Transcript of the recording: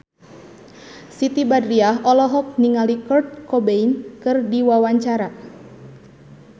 Siti Badriah olohok ningali Kurt Cobain keur diwawancara